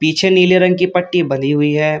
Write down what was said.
पीछे नीले रंग की पट्टी बंधी हुई है।